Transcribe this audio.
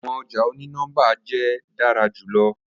Awọn ọja oni-nọmba jẹ dara julọ